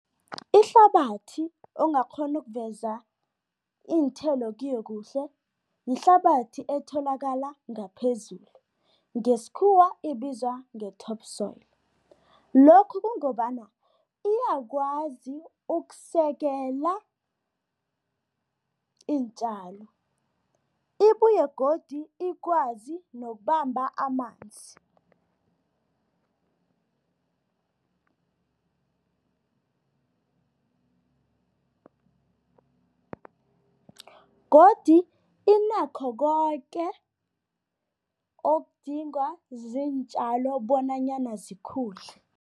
Ihlabathi ongakghona ukuveza iinthelo kiyo kuhle yihlabathi etholakala ngaphezulu, ngesikhuwa ibizwa nge-top soil. Lokhu kungobana iyakwazi ukusekela iintjalo, ibuye godu ikwazi nokubamba amanzi godu inakho koke okudingwa ziintjalo bonanyana zikhule.